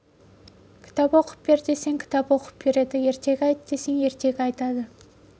кітап оқып бер десең кітап оқып береді ертек айт десең ертек айтады